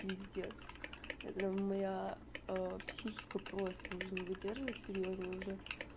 пиздец это моя психика просто уже не выдерживает серьёзно уже